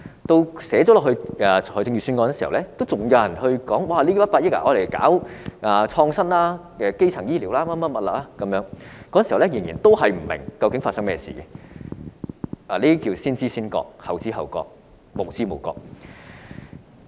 即使預算案提出這項建議，仍然有人說不如用這100億元搞創新或基層醫療等，那時候他們仍然不明白該基金有何用，這便是先知先覺，後知後覺，無知無覺。